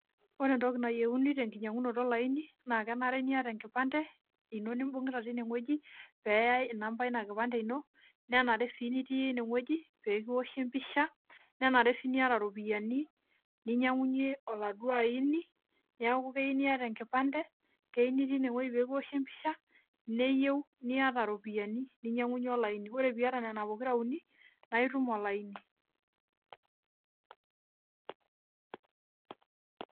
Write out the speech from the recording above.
Ore entoki nayieuni tenkinyiankunoto olaini naa kenare niata enkipante ino nimbunkita tinewoji peeyai inamba eina kipande ino, nenare sii nitii inewoji pee kiwoshi empisha, nanare sii niyata iropiyiani ninyiangunyie oladuo aini, neeku keyieu niata enkipante, keyieu nitii inewoji peekiwoshi empisha, neyieu niata iropiyiani ninyiankunyie olaini, ore piyata nena pokira uni naaitum olaini.